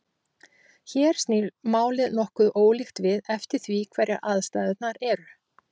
hér snýr málið nokkuð ólíkt við eftir því hverjar aðstæðurnar eru